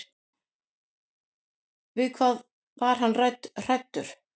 Við hvað var hann hræddur?